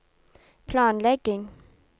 planlegging